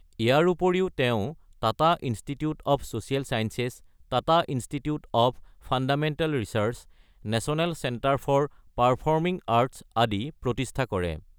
ইয়াৰ উপৰিও তেওঁ Tata institute of social sciences, Tata institute of fundamental research, national centre for performing arts আদি প্ৰতিষ্ঠা কৰে।